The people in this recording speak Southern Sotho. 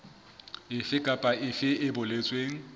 efe kapa efe e boletsweng